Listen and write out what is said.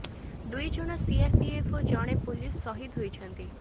ଦୁଇ ଜଣ ସିଆରପିଏଫ୍ ଓ ଜଣେ ପୋଲିସ ସହିଦ ହୋଇଛନ୍ତି